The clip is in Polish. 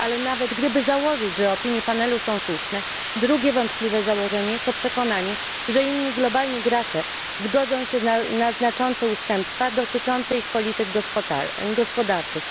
Ale nawet gdyby założyć, że opinie panelu są słuszne, drugie wątpliwe założenie, to przekonanie, że inni globalni gracze zgodzą się na znaczące ustępstwa dotyczące ich polityk gospodarczych.